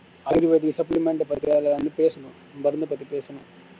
ayurvedic supplement பத்தி பேசனும் மருந்துபத்தி பேசனும்